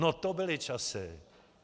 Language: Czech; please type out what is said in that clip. No to byly časy.